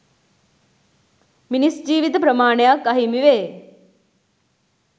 මිනිස් ජීවිත ප්‍රමාණයක් අහිමිවේ.